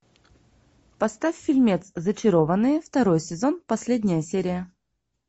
поставь фильмец зачарованные второй сезон последняя серия